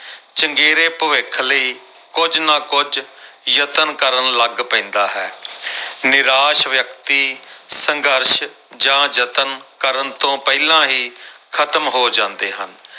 ਚੰਗੇਰੇ ਭਵਿੱਖ ਲਈ ਕੁੱਝ ਨਾ ਕੁੱਝ ਯਤਨ ਕਰਨ ਲੱਗ ਪੈਂਦਾ ਹੈ ਨਿਰਾਸ਼ ਵਿਅਕਤੀ ਸੰਘਰਸ਼ ਜਾਂ ਯਤਨ ਕਰਨ ਤੋਂ ਪਹਿਲਾਂ ਹੀ ਖ਼ਤਮ ਹੋ ਜਾਂਦੇ ਹਨ।